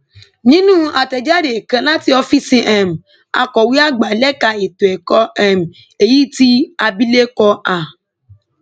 nínú àtẹjáde kan láti ọfíìsì um akọwé àgbà lẹka ètò ẹkọ um èyí tí abilékọ a